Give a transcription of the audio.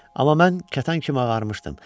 Amma mən kətan kimi ağarmışdım.